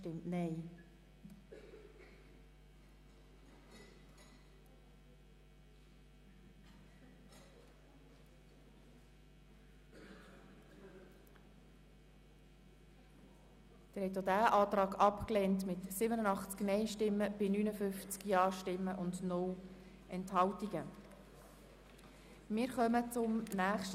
Im Voranschlag 2018 ist der Saldo der Produktgruppe 5.7.7 «Angebote für Menschen mit einem Pflege-, Betreuungs-, besonderen Bildungsbedarf» um CHF 13 Millionen zu erhöhen.